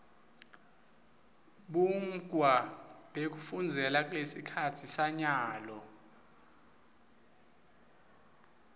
bumgkwa bekufunzela kulesikhatsi sanyalo